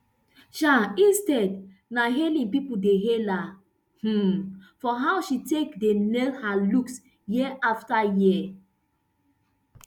um instead na hailing pipo dey hail her um for how she take dey nail her looks year afta year